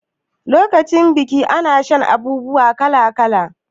Lokacin biki ana shan abun sha kala kala